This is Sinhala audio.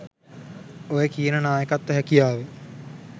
ඔය කියන නායකත්ව හැකියාව